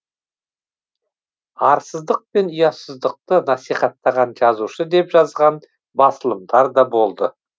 арсыздықпен ұятсыздықты насихаттаған жазушы деп жазған басылымдар да болды